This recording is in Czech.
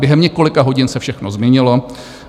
Během několika hodin se všechno změnilo.